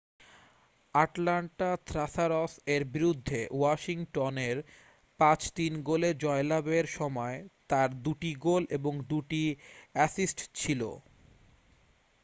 Atlanta Thrashers এর বিরুদ্ধে Washington এর 5-3 গোলে জয়লাভ এর সময় তার দু'টি গোল এবং দু'টি অ্যাসিস্ট ছিল